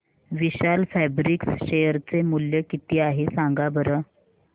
विशाल fabrics share चे मूल्य किती आहे सांगा बरं